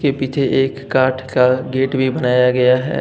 पीछे एक काठ का गेट भी बनाया गया है।